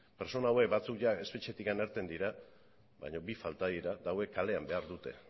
pertsona hauek batzuek jada espetxetik irten dira baina bi falta dira eta hauek kalean behar dute